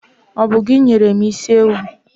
Ọ bụ gị nyere mụ isi ewu.